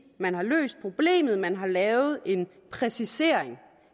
man har løst problemet man har lavet en præcisering